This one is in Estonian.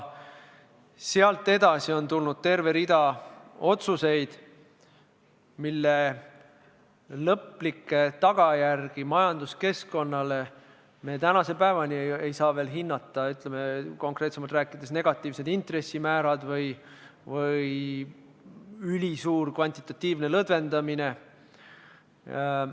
Sealt edasi on tulnud terve hulk otsuseid, mille lõplikke tagajärgi majanduskeskkonnale me tänase päevani ei saa veel hinnata, konkreetsemalt rääkides näiteks negatiivsed intressimäärad või ülisuur kvantitatiivne lõdvendamine.